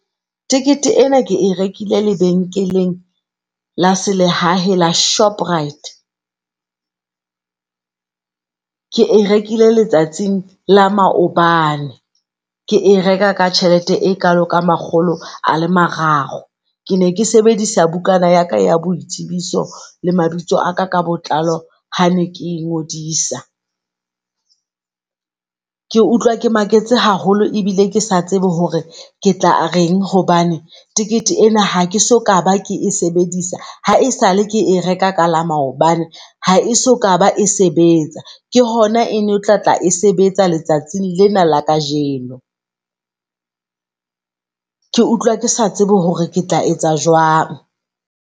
Tikete ena ke e rekile lebenkeleng la se lehahe la Shoprite. Ke e rekile letsatsing la maobane, ke e reka ka tjhelete e kalo ka makgolo a le mararo. Ke ne ke sebedisa bukana yala ya boitsibiso le mabitso a ka ka botlalo ha ne ke ngodisa. Ke utlwa ke maketse haholo ebile kesa tsebe hore ketla reng hobane tikete ena hakeso ka ba ke e sebedisa ha esale ke e reka ka la maobane. Ha e soka ba e sebetsa, ke hona ene o tlatla e sebetsa letsatsing lena la kajeno. Ke utlwa ke sa tsebe hore ke tla etsa jwang.